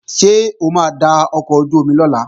Ṣé o máa da ọkọ̀ ojú-omi lọ̀la?